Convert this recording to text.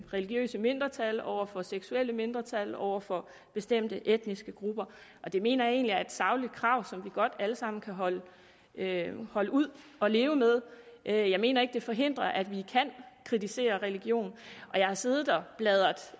religiøse mindretal over for seksuelle mindretal over for bestemte etniske grupper det mener jeg egentlig er et sagligt krav som vi godt alle sammen kan holde kan holde ud at leve med jeg mener ikke det forhindrer at vi kan kritisere religion jeg har siddet og bladret